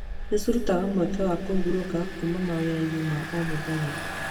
Nĩ cirutaga mweke wa kũhurũka kuuma mawĩra-inĩ ma o mũthenya.